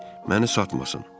məni satmasın.